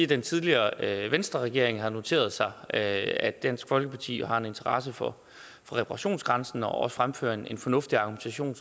den tidligere venstreregering har noteret sig at dansk folkeparti har en interesse for reparationsgrænsen og også fremfører en fornuftig argumentation